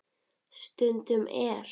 Stundum er